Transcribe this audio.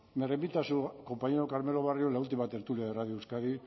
me remito a su compañero carmelo barrio en la última tertulia de radio euskadi